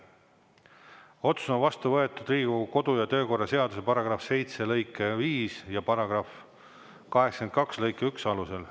Otsus on vastu võetud Riigikogu kodu- ja töökorra seaduse § 7 lõike 5 ja § 82 lõike 1 alusel.